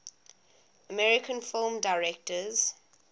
american film directors